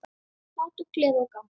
Hlátur, gleði og gaman.